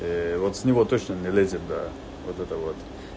вот с него точно не лезет да вот это вот